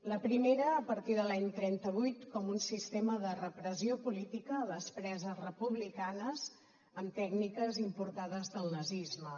la primera a partir de l’any trenta vuit com un sistema de repressió política a les preses republicanes amb tècniques importades del nazisme